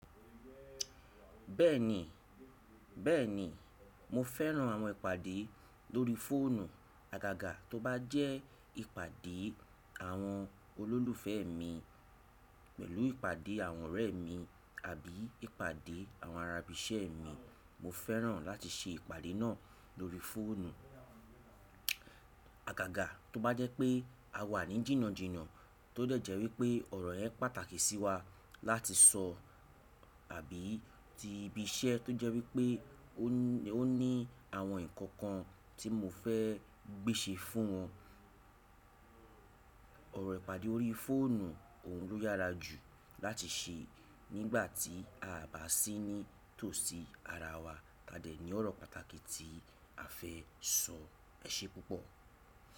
Bẹ́ẹ̀ni, bẹ́ẹ̀ni mo fẹ́ran àwọn ìpàdé lórí fóònù àgàgà tó bá jẹ́ ìpàdé àwọn olólùfẹ́ mi pẹ̀lú ìpàdé àwọn ọ̀rẹ́ mi àbí ìpàdé àwọn ará ibì isẹ́ mi. Mo fẹ́ràn láti ṣe ìpàdé náà lórí fóònù àgàgà tó bá jẹ́ pé a wà ní jìnnàjìnnà tó dẹ̀ jẹ́ wípé ọ̀rọ̀ yẹn pàtàkì sí wa láti sọ àbí tí ibi iṣẹ́ tó jẹ́ wípé ó ní àwọn nnkan kan tí mo fẹ́ gbèsè fún wọn. Ọ̀rọ̀ ìpàdé lórí fóònù òun ló yára jù láti ṣe nígbà tí aa bá sì ní tòsí ara wa tadẹ̀ ní ọ̀rọ̀ pàtàkì tí a fẹ́ sọ. Ẹṣẹ́ púpọ̀.